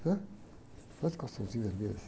Né? o calçãozinho vermelho?